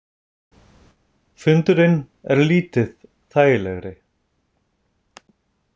Fundurinn er lítið þægilegri.